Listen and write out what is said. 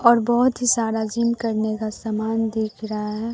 और बहोत ही सारा जिम करने का समान दिख रहा है।